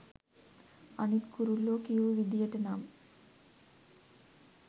අනිත් කුරුල්ලෝ කියූ විදියට නම්